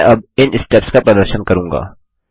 मैं अब इन स्टेप्स का प्रदर्शन करूँगा